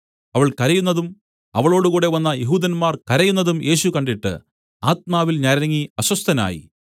അവൾ കരയുന്നതും അവളോടുകൂടെ വന്ന യെഹൂദന്മാർ കരയുന്നതും യേശു കണ്ടിട്ട് ആത്മാവിൽ ഞരങ്ങി അസ്വസ്ഥനായി